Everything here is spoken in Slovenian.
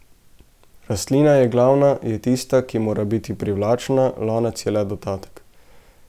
Rastlina je glavna, je tista, ki mora biti privlačna, lonec je le dodatek.